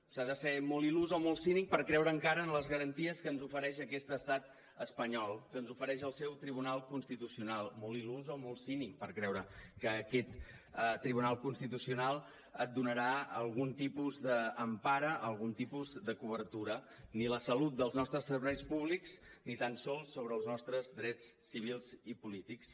s’ha de ser molt il·lús o molt cínic per creure encara en les garanties que ens ofereix aquest estat espanyol que ens ofereix el seu tribunal constitucional molt illús o molt cínic per creure que aquest tribunal constitucional et donarà algun tipus d’empara algun tipus de cobertura ni la salut dels nostres serveis públics ni tal sols sobre els nostres drets civils i polítics